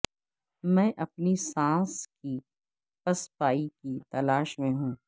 میں اپنی سانس کی پسپائی کی تلاش میں ہوں